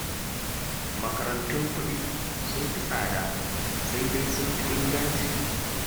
Makarantun kuɗi sun fi tsada, sai dai sun fi inganci